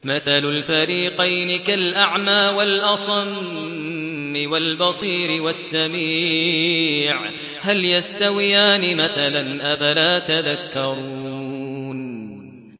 ۞ مَثَلُ الْفَرِيقَيْنِ كَالْأَعْمَىٰ وَالْأَصَمِّ وَالْبَصِيرِ وَالسَّمِيعِ ۚ هَلْ يَسْتَوِيَانِ مَثَلًا ۚ أَفَلَا تَذَكَّرُونَ